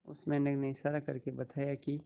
उस मेंढक ने इशारा करके बताया की